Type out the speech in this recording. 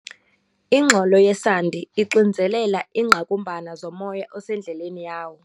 Ingxolo yesandi ixinzelela iingqakumbana zomoya osendleleni yawo.